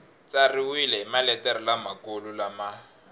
tsariwile hi maletere lamakulu lama